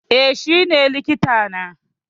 Eh shi ne likita na